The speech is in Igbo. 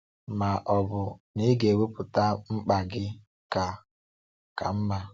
Ma ọ bụ na ị ga-ekwupụta mkpa gị ka ka mma.